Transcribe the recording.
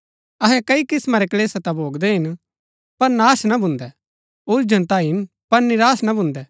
अहै कई किस्मा रै क्‍लेश ता भोगदै हिन पर नाश ना भून्दै उलझन ता हिन पर निराश ना भून्दै